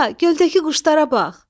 Ata, göldəki quşlara bax!